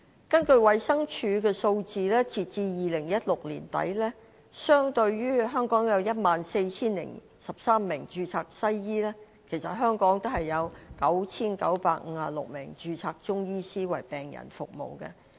根據衞生署的數字，截至2016年年底，相對於香港有 14,013 名註冊西醫，香港也有 9,956 名註冊中醫師為病人服務。